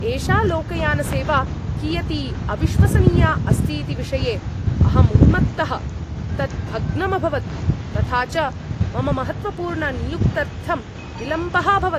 एषा लोकयानसेवा कियती अविश्वसनीया अस्ति इति विषये अहं उन्मत्तः। तत् भग्नम् अभवत्, तथा च मम महत्त्वपूर्णनियुक्त्यर्थं विलम्बः अभवत्!